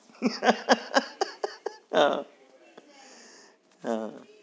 હા હા હા